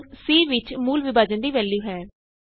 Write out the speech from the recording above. ਹੁਣ c ਵਿਚ ਮੂਲ ਵਿਭਾਜਨ ਦੀ ਵੈਲਯੂ ਹੈ